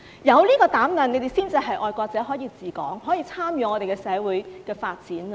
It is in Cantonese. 有這個膽量才是愛國者，才可以治港，才可以參與社會的發展。